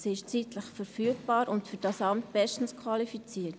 Sie ist zeitlich verfügbar und für dieses Amt bestens qualifiziert.